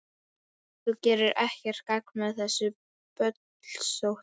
Þú gerir ekkert gagn með þessu bölsóti,